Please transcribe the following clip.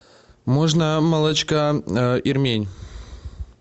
можно молочка ирмень